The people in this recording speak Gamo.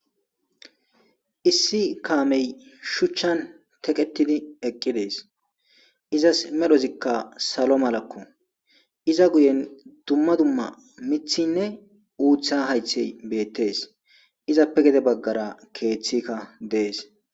issi kaamey shuchchan teqetidi eqqi dees izas medhozikka salo malakko iza guyen dumma dumma mithinne uutha haythey beettes izappe gede baggara keeththikka dees